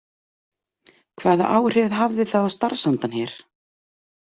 Hvaða áhrif hafði það á starfsandann hér?